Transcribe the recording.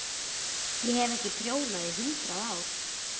Ég hef ekki prjónað í hundrað ár.